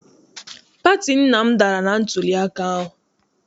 Pati nna m dara na ntuliaka ahụ.